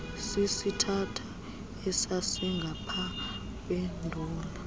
sisithatha esasingapha kwenduli